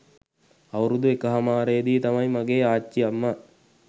අවුරුදු එකහමාරේදී තමයි මගේ ආච්චි අම්මා